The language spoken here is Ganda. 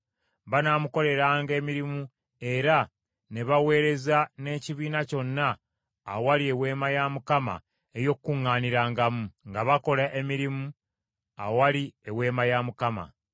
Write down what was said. Banaamukoleranga emirimu era ne baweereza n’ekibiina kyonna awali Eweema ey’Okukuŋŋaanirangamu, nga bakola emirimu awali Eweema ya Mukama .